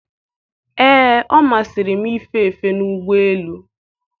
ee, ọ masịrị m ife efe n'ụgbọelu